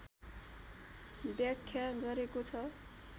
व्याख्या गरेको छ